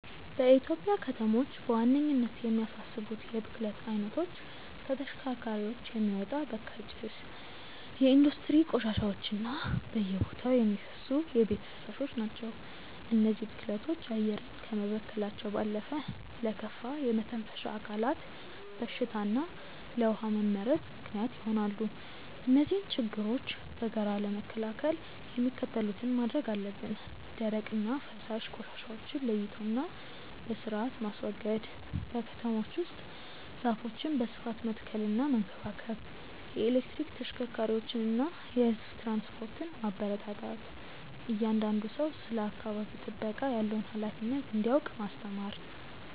በኢትዮጵያ ከተሞች በዋነኝነት የሚያሳስቡት የብክለት አይነቶች ከተሽከርካሪዎች የሚወጣ በካይ ጭስ፣ የኢንዱስትሪ ቆሻሻዎች እና በየቦታው የሚፈሱ የቤት ፍሳሾች ናቸው። እነዚህ ብክለቶች አየርን ከመበከላቸው ባለፈ ለከፋ የመተንፈሻ አካላት በሽታ እና ለውሃ መመረዝ ምክንያት ይሆናሉ። እነዚህን ችግሮች በጋራ ለመከላከል የሚከተሉትን ማድረግ አለብን፦ ደረቅና ፈሳሽ ቆሻሻዎችን ለይቶና በስርአት ማስወገድ። በከተሞች ውስጥ ዛፎችን በስፋት መትከልና መንከባከብ። የኤሌክትሪክ ተሽከርካሪዎችንና የህዝብ ትራንስፖርትን ማበረታታት። እያንዳንዱ ሰው ስለ አካባቢ ጥበቃ ያለውን ሃላፊነት እንዲያውቅ ማስተማር።